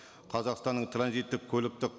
қазақстанның транзиттік көліктік